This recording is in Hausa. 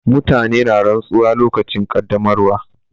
Mutane na rantsuwa lokacin ƙaddamarwa.